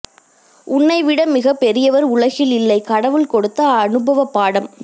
உன்னைவிட மிகப் பெரியவர் உலகில் இல்லை கடவுள் கொடுத்த அனுபவப் பாடம்